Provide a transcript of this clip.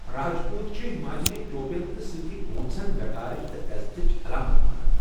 راج پوٗت چھِ ہماچلی ٹوپٮ۪ن تہٕ سۭتۍ گونٛژھٕن وقارٕچ تہٕ عٮ۪زتٕچ علامتھ مانان۔